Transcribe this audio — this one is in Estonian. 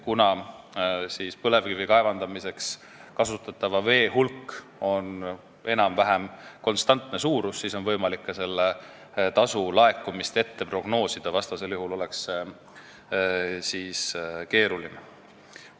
Kuna põlevkivi kaevandamiseks kasutatava vee hulk on enam-vähem konstantne suurus, siis on võimalik ka selle tasu laekumist prognoosida, muidu oleks see keeruline.